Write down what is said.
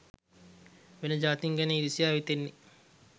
වෙන ජාතීන් ගැන ඉරිසියාව හිතෙන්නේ